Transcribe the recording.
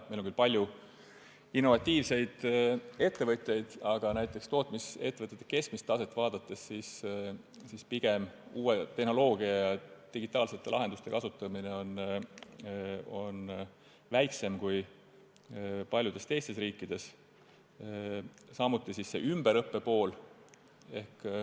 Meil on küll palju innovatiivseid ettevõtjaid, aga näiteks tootmisettevõtete keskmist taset vaadates kasutatakse uut tehnoloogiat ja digitaalseid lahendusi pigem vähem kui paljudes teistes riikides, sama võib öelda ümberõppe kohta.